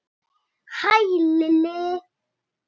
Hæ, Lilli!